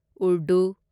Urdu